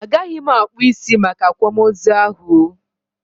Agaghị m akpụ isi Make akwamozu ahụ oo